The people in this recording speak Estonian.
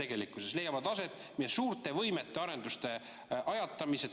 Tegelikkuses leiavad aset meie suurte võimete arenduste ajatamised.